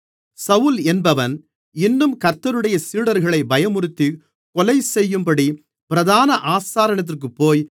சவுல் என்பவன் இன்னும் கர்த்தருடைய சீடர்களை பயமுறுத்திக் கொலைசெய்யும்படி பிரதான ஆசாரியனிடத்திற்குப்போய்